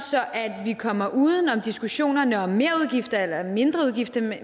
at vi kommer uden om diskussionerne om merudgifter eller mindreudgifter